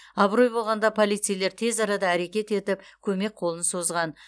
абырой болғанда полицейлер тез арада әрекет етіп көмек қолын созған